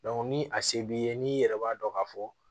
ni a se b'i ye n'i yɛrɛ b'a dɔn k'a fɔ